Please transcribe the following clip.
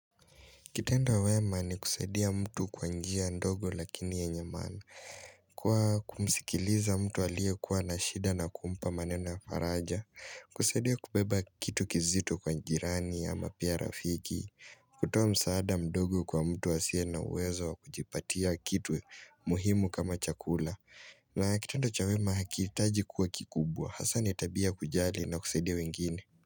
Kitendo wema ni kusaidia mtu kwa njia ndogo lakini yenye maana. Kwa kumsikiliza mtu alie kuwa na shida na kumpa maneno ya faraja. Kusaidia kubeba kitu kizito kwa jirani ama pia rafiki, kutoa msaada mdogo kwa mtu asiye na uwezo wa kujipatia kitu muhimu kama chakula. Na kitendo cha wema hakitaji kuwa kikubwa. Hasa ni tabia ya kujali na kusaidia wengine.